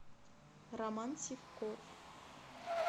роман сивков